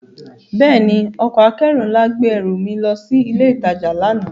Bẹ́ẹ̀ni, ọkọ̀ akẹ́rù nla gbe ẹru mi lọ si ile itaja lana.